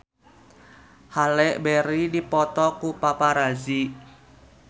Halle Berry dipoto ku paparazi